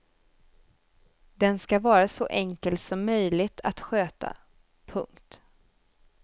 Den ska vara så enkel som möjligt att sköta. punkt